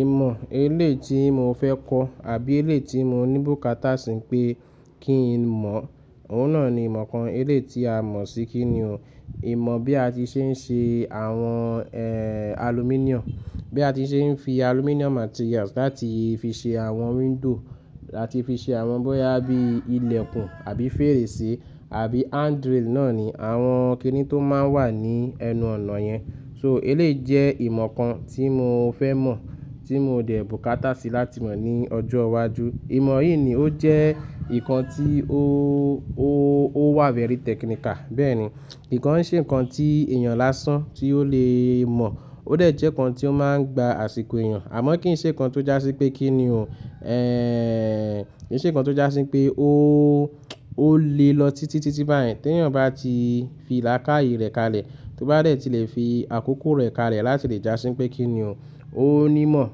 Ìmọ̀ eléyìí tí mo fẹ́ kọ́ àbí eléyìí tí mo ní bùkátà sí pé kí n mọ̀, òun náà ni ìmọ̀ kan. Eléyìí tí a mọ̀ sí kí ni o. Ìmọ̀ bí a ti ṣe ń ṣe àwọn, eeh, aluminum. Bí a ti ṣe ń fi aluminum materials láti fi ṣe àwọn window, láti fi ṣe àwọn bóyá bí ilẹ̀kùn àbí fèrèsé àbí handrail náà ni àwọn kiní tó máa ń wà ní ẹnu ọ̀nà yẹn. So elé jẹ́ ìmọ̀ kan tí mo fẹ́ mọ̀, tí mo dẹ̀ bùkátà sí láti mọ̀ ní ọjọ́ iwájú. Ìmọ̀ yìí ni ó jẹ́ nǹkan tí ó, ó, ó wà very technical. Bẹ́ẹ̀ni, ki kàn ń ṣe ǹkan tí èèyàn lásán tí ó lè mọ̀, ó dẹ̀ jẹ́ ǹkan tí ó máa ń gba àsìkò èèyàn. Àmọ́ kì í ṣe ǹkan tó jásí pé kí ni o, eeh, kì í ṣe ǹkan tó jásí pé ó, ó lé lọ títí, títí báyẹn tí èèyàn bá ti fiì làkáye rẹ̀ kalẹ̀, tó bá dẹ̀ ti lè fi àkókò rẹ̀ kalẹ̀ láti lè jásí pé kí ni o. Ó ní mọ̀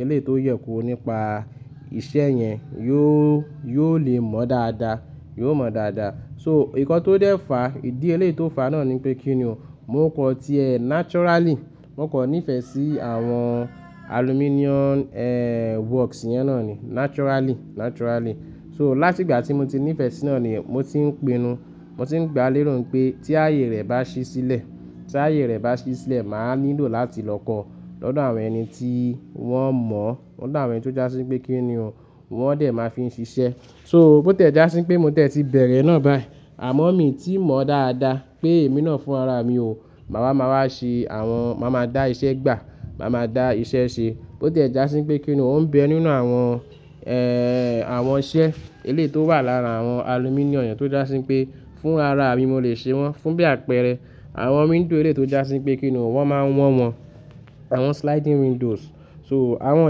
eléyìí tó yẹ kóró nípa iṣẹ́ yẹn, yóò, yóò lè mọ̀ dáadáa, yóò mọ̀ dáadáa. So ǹkan tó dẹ́ fàá, ìdí elé tó fàá náà ni pé kí ni o. Mo kàn tí ẹ naturally, mo kọ nífẹ̀ẹ́ sí àwọn aluminum, eeh, works yẹn náà ni naturally, naturally. So láti ìgbà tí mo ti nífẹ̀ẹ́ sí náà ni mo ti ń pinnu, mo ti ń gba lérò pé tí ààyè rẹ̀ bá ṣí sílẹ̀, tí ààyè rẹ̀ bá ṣí sílẹ̀, mà á nílò láti lọ kọ́ọ́ lọ́dọ̀ àwọn ẹni tí wọ́n mọ̀, lọ́dọ̀ àwọn ẹni tó jásí pé kí ni o, wọ́n dẹ̀ máa fi ń ṣiṣẹ́. So bó tiẹ̀ jásí pé mo tẹ̀ ti bẹ̀rẹ̀ náà báyìí, àmọ́ mi tí mọ̀ dáadáa pé èmi náà fún ara mi o. Màá wá, màá wá ṣe àwọn, màá máa dá iṣẹ́ gbà, màá máa dá iṣẹ́ ṣe. Bó tiẹ̀ jásí pé kí ni o ń bẹ nínú àwọn, eeh, àwọn iṣẹ́ elé tó wà lára àwọn aluminum yẹn tó jásí pé fún rara mi mo lè ṣe wọ́n, fún bí àpẹẹrẹ àwọn window elé tó jásí pé kí ni o, wọ́n máa ń wọ́ọ̀ wọn, àwọn sliding windows. So àwọn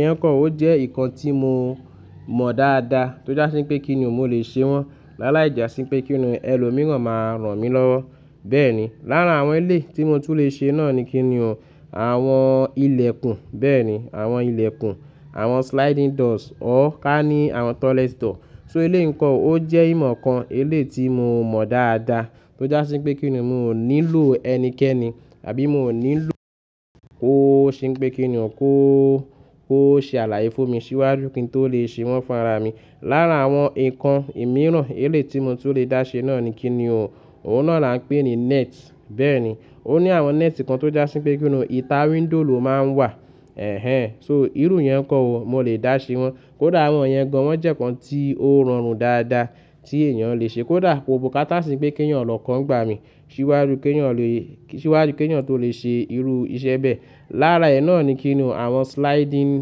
yẹn kàn o jẹ́ nǹkan tí mo mọ̀ dáadáa tó jásí pé kí ni o mo lè ṣe wọ́n. Lála ì jà sí pé kí ni o ẹlòmíràn máa ràn mí lọ́wọ́. Bẹ́ẹ̀ni, láarà àwọn eléyìí tí mo tún lè ṣe náà ni kí ni o, àwọn ilẹ̀kùn. Bẹ́ẹ̀ni, àwọn ilẹ̀kùn, àwọn sliding doors or ká ní àwọn toilet door. So elé nǹkan o jẹ́ ìmọ̀ kan, elé tí mo mọ̀ dáadáa tó jásí pé kí ni o mo ò nílò ẹnikẹ́ni àbí mo ò nílò kó ṣe pé kí ni o kó, kó ṣe àlàyé fún mi síwájú kí n tó lè ṣe wọ́n fún ara mi. Lára àwọn nǹkan mìíràn elé tí mo tún lè dá ṣe náà ni kí ni o, òun náà la ń pè ní net. Bẹ́ẹ̀ni, ó ní àwọn net kan tó jásí pé kí ni o ìta window ló máa ń wà. Ẹ̀hẹn! So irú yẹn kọ́ o mo lè dá ṣe wọ́n. Kódà àwọn yẹn gan wọ́n jẹ́ nǹkan tí ó rọrùn dáadáa tí èèyàn lè ṣe. Kódà ko bùkátà sí pé kí èèyàn lọ̀kọ̀ n gbà mí síwájú kí èèyàn lè, síwájú kí èèyàn tó lè ṣe irú iṣẹ́ bẹ́ẹ̀. Lára ẹ̀ náà ni kí ni o àwọn sliding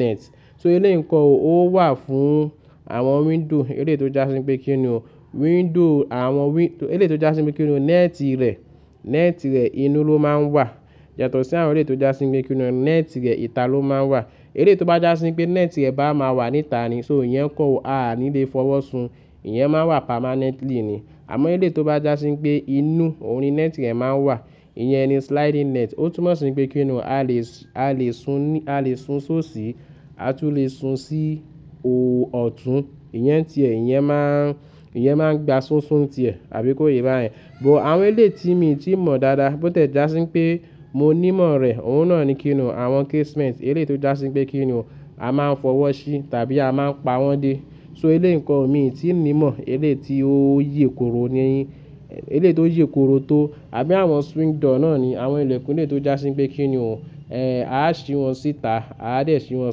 net. So elé nǹkọ́ o ó wà fún àwọn window elé tó jásí pé kí ni o window àwọn wi-- elé tó jásí pé kí ni o net rẹ̀, net rẹ̀ inú ló máa ń wà. Yàtọ̀ sí àwọn elé tó jásí pé kí ni o net rẹ̀ ìta ló máa ń wà. Elé tó bá jásí pé net rẹ̀ bá máa wà níta ni so ìyẹn kọ́ o a ní lè fọwọ́ sun. Ìyẹn máa ń wà permanently ni. Àmọ́ elé tó bá jásí pé inú òun ni net rẹ̀ máa ń wà, ìyẹn ni sliding net. Ó túmọ̀ sí pé kí ni o a lè sùn ní, a lè sùn sóṣì, a tún lè sùn sí òò ọ̀tún. Ìyẹn ti ẹ̀, ìyẹn máa ń, ìyẹn máa ń gba súnsún ti ẹ̀ àbí kó yí báyẹn. But àwọn elé tí mi tí mọ̀ dáadáa bó tẹ̀ jásí pé mo ní mọ̀ rẹ̀, òun náà ni kí ni o àwọn casement elé tó jásí pé kí ni o a máa ń fọwọ́ ṣí tàbí a máa ń pa wọ́n dé. So elé nǹkan o mi tí ń ní mọ̀ elé tí ó yè korò ni yin, elé tó yè korò tó àbí àwọn swing door náà ni àwọn ilẹ̀kùn elé tó jásí pé kí ni o, eeh, a á ṣí wọ́n síta, a á dẹ̀ ṣí wọ́n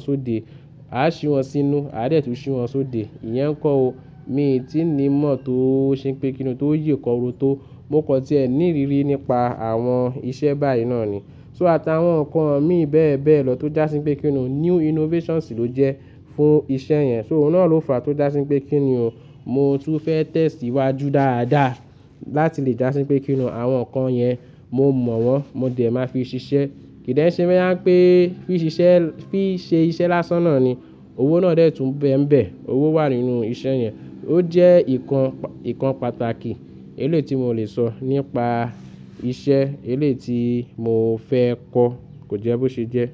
sóde, a á ṣí wọ́n sínú, a dẹ̀ tún ṣí wọ́n sóde. Ìyẹn kọ́ o mi tí ń ní mọ̀ tó ṣe pé kí ni o tó yè korò tó. Mo kọ tí ẹ ní ìrírí nípa àwọn iṣẹ́ báyìí náà ni. So àtàwọn nǹkan mi bẹ́ẹ̀ bẹ́ẹ̀ lọ tó jásí pé kí ni o new innovations ló jẹ́ fún iṣẹ́ yẹn. So òun náà ló fàá tó jásí pé kí ni o mo tún fẹ́ tẹ́síwájú dáadáa láti lè jásí pé kí ni o àwọn nǹkan yẹn mo mọ̀ wọ́n, mo dẹ̀ máa fi ṣiṣẹ́. Kì í dẹ̀ ṣe bóyá pè fí ṣiṣẹ́, fí í ṣe iṣẹ́ lásán náà ni. Owó náà dẹ̀ tún bẹ́ ǹ bẹ̀. Owó wà nínú iṣẹ́ yẹn. Ó jẹ́ nǹkan, nǹkan pàtàkì elé tí mo lè sọ nípa iṣẹ́ elé tí mo fẹ́ kọ́ kò jẹ́ bó ṣe jẹ́.